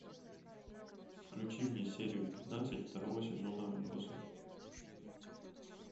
включи мне серию пятнадцать второго сезона отбросы